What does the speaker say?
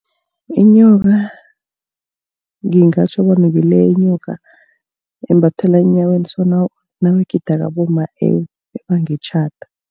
Inyoka ngingatjho bona ngileyo inyoka embathiwa enyaweni so nabagidako abomma ebanga itjhada.